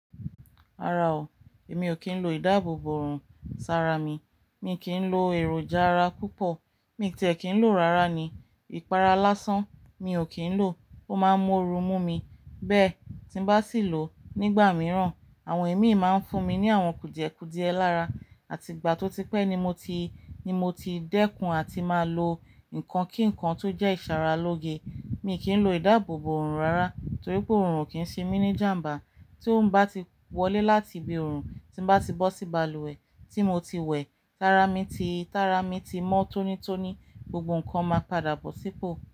Ara o, èmi ò kín lọ ìdáàbòbò òòrùn, sara mi. Mi kìí ń lo èròjà ara púpọ̀, mi tì ẹ kín ló rárà ni. Ìpara lásán mi ò kín ń lò, o máa ń mú oru mú mi. Bẹ́ẹ̀ tí n bá sí lọ nígbà mìíràn, àwọn ẹ̀mí máa ń fún mi ní àwọn kùdìẹ̀kùdìẹ lára. Àti ìgbà tó ti pẹ́ ni mo ti, ni mo ti dẹ́kun àti máa lo nǹkan kíǹkan tó jẹ́ ìsara lóge. Mi kì í lò ìdáàbòbò òòrùn rárá torí pé òòrùn kìí ṣe mí ní ìjàmbá. Tí o bá ti wọlé láti ibi òòrùn, tí n bá ti bọ́ sí balùwẹ̀ tí mo ti wẹ̀, tara mi ti, tara mi ti mọ́ tónítóní, gbogbo nǹkan máa padà bọ̀ sípò.